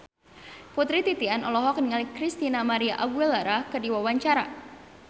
Putri Titian olohok ningali Christina María Aguilera keur diwawancara